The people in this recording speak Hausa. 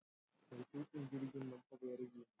Mai tuƙin jirgin nan fa bayarbe ne